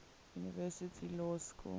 university law school